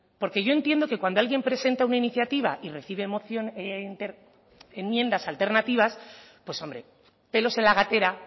porque yo entiendo que cuando alguien presenta una iniciativa y recibe enmiendas alternativas pues hombre pelos en la gatera